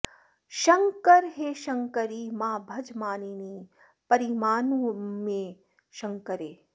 शङ्करे हे शङ्करि मा भज मानिनि परिमानमुमे शङ्करे